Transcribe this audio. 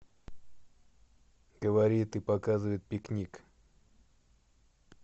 говорит и показывает пикник